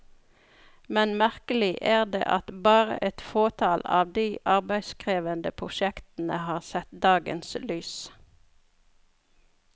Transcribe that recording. Men merkelig er det at bare et fåtall av de arbeidskrevende prosjektene har sett dagens lys.